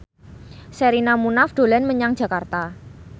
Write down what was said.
Sherina Munaf dolan menyang Jakarta